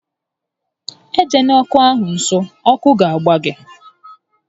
E jela ọkụ ahụ nso, ọkụ ga agba gị!